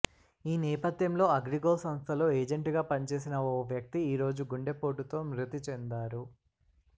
ఈ నేపథ్యంలో అగ్రిగోల్డ్ సంస్థలో ఏజెంట్ గా పనిచేసిన ఓ వ్యక్తి ఈరోజు గుండెపోటుతో మృతి చెందారు